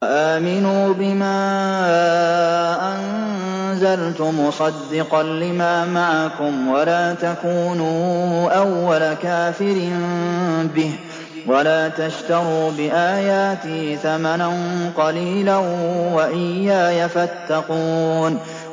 وَآمِنُوا بِمَا أَنزَلْتُ مُصَدِّقًا لِّمَا مَعَكُمْ وَلَا تَكُونُوا أَوَّلَ كَافِرٍ بِهِ ۖ وَلَا تَشْتَرُوا بِآيَاتِي ثَمَنًا قَلِيلًا وَإِيَّايَ فَاتَّقُونِ